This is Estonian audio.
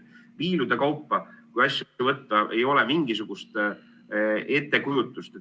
Viilude kaupa, kui asju võtta, siis ei ole mingisugust ettekujutust.